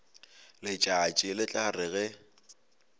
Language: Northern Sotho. letšatši le tla re ge